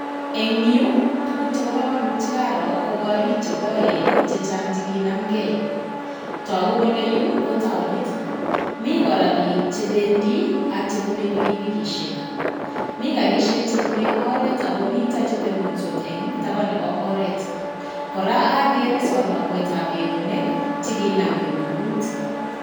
En yu tuguk chebo komonut che karo ko gorik chekoen chechang' chekinamgei togu kele yu ko taonit. Mi kora biik chebendi ak chebune pikipikisiek mi garisiek chebune oret ak komiten chetondos en taban nebo oret. Kora ogere sonomuetab eunek chekinam kirugngut.